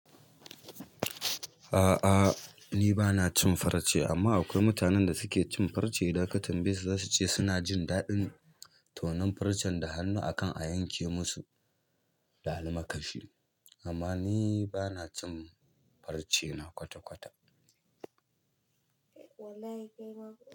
A'a ni bana cin farce amma akwai mutanen da suke cin farce. Idan ka tambaye su zasu ce suna jin daɗin tonon farcen da hannu a kan a yanke musu, da almakashi. Amma ni bana cin farce, na kwata-kwata. Eh wallahi kai ma.